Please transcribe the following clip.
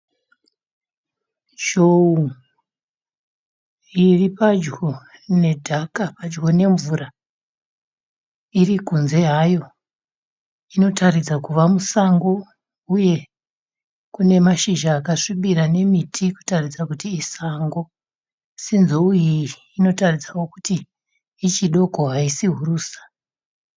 Zhou iri padyo nedhaka padyo nemvura iri kunze hayo. Inotaridza kuva musango uye kune mazhizha akasvibira nemiti kuratidza kuti isango asi nzou iyi inoratidza kuti ichidoko haisi hurusa.